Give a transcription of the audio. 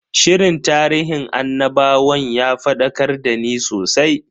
Shirin tarihin annabawan ya fadakar dani sosai.